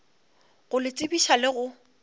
go le tsebiša le go